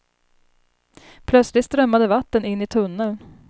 Plötsligt strömmade vatten in i tunneln.